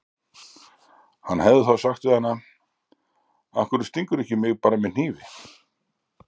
Hann hefði þá sagt við hana: Af hverju stingur þú mig ekki bara með hnífi?